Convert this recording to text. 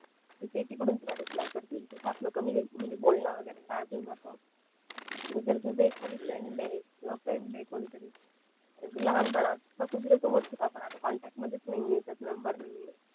मग ते तिकडून तुला रिप्लाय करतील तिथंच आपलं बोलणं वैगरे स्टार्ट होऊन जात जर तुझं एखादी फ्रेंड ये किंवा फ्रेंड ये कोणी तरी लहानपणा पासून सोबत होतो आता कॉन्टॅक्ट मधेच नाही आहे त्यात नंबर नाही आहे